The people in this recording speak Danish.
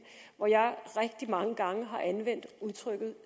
hvor jeg rigtig mange gange har anvendt udtrykket